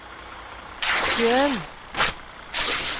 sjøen